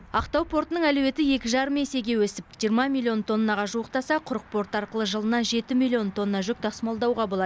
ақтау портының әлеуеті екі жарым есеге өсіп жиырма миллион тоннаға жуықтаса құрық порты арқылы жылына жеті миллион тонна жүк тасымалдауға болады